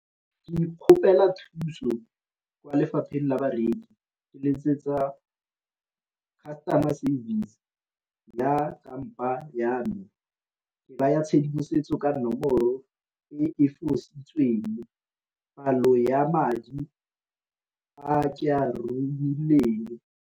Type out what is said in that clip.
Ke ikgopela thuso kwa lefapheng la bareki, ke letsetsa customer service ya kampa ya me ke naya tshedimosetso ka nomoro e fositsweng, palo ya madi a ke a .